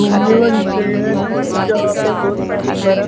घूमने वाली जगह है जहां पे बहोत सारी बर--